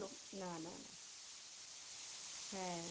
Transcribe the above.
না না না। হ্যাঁ,